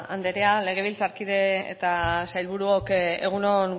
andrea legebiltzarkide eta sailburuok egun on